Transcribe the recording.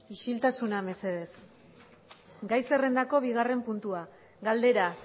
isiltasuna mesedez gai zerrendako bigarren puntua galdera